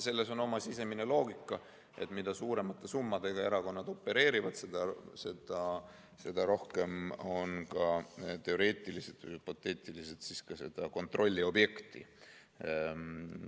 Selles on oma sisemine loogika: mida suuremate summadega erakonnad opereerivad, seda rohkem on teoreetiliselt ja hüpoteetiliselt ka ERJK‑l seda kontrolliobjekti.